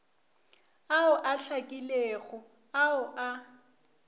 ao a hlakilego ao a